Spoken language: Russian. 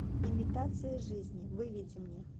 имитация жизни выведи мне